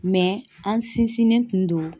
an sinsinnen tun do